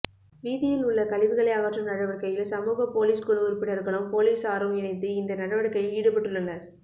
வீதியில் உள்ள கழிவுகளை அகற்றும் நடவடிக்கையில் சமூக பொலிஸ் குழு உறுப்பினர்களும் பொலிசாரும் இணைந்து இந்த நடவடிக்கையில் ஈடுபட்டுள்ளனர்